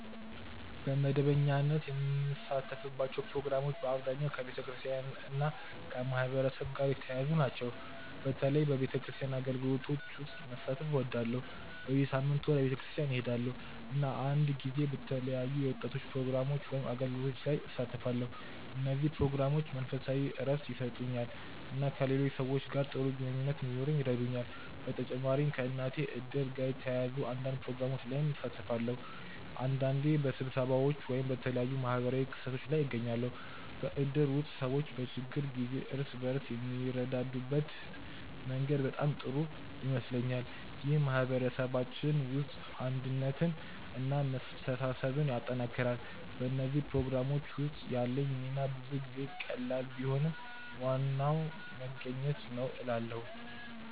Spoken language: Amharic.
በመደበኛነት የምሳተፍባቸው ፕሮግራሞች በአብዛኛው ከቤተክርስቲያን እና ከማህበረሰብ ጋር የተያያዙ ናቸው። በተለይ በቤተክርስቲያን አገልግሎቶች ውስጥ መሳተፍ እወዳለሁ። በየሳምንቱ ወደ ቤተክርስቲያን እሄዳለሁ፣ እና አንዳንድ ጊዜ በተለያዩ የወጣቶች ፕሮግራሞች ወይም አገልግሎቶች ላይ እሳተፋለሁ። እነዚህ ፕሮግራሞች መንፈሳዊ እረፍት ይሰጡኛል እና ከሌሎች ሰዎች ጋር ጥሩ ግንኙነት እንዲኖረኝ ይረዱኛል። በተጨማሪም ከእናቴ እድር ጋር የተያያዙ አንዳንድ ፕሮግራሞች ላይ እሳተፋለሁ። አንዳንዴ በስብሰባዎች ወይም በተለያዩ ማህበራዊ ክስተቶች ላይ እገኛለሁ። በእድር ውስጥ ሰዎች በችግር ጊዜ እርስ በርስ የሚረዳዱበት መንገድ በጣም ጥሩ ይመስለኛል። ይህ በማህበረሰባችን ውስጥ አንድነትን እና መተሳሰብን ያጠናክራል። በእነዚህ ፕሮግራሞች ውስጥ ያለኝ ሚና ብዙ ጊዜ ቀላል ቢሆንም ዋናው መገኘት ነው እላለ